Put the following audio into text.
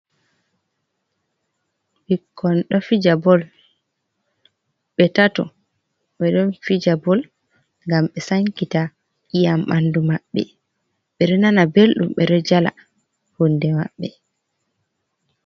Ɓikkon ɗo fijabol, ɓe tato ɓe ɗo fija bol gam ɓe sankita iyam bandu mabbe, ɓeɗo nana beldum ɓeɗo jala hunde mabbe.